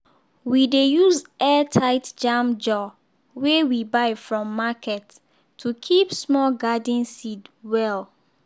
we dey use airtight jam jar wey we buy from market to keep small garden seed well.